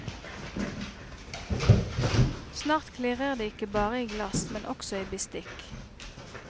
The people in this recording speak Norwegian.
Snart klirrer det ikke bare i glass, men også i bestikk.